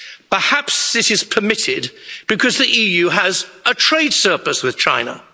Perhaps this is permitted because the EU has a trade surplus with China?